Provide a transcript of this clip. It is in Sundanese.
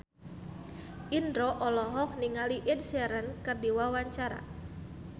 Indro olohok ningali Ed Sheeran keur diwawancara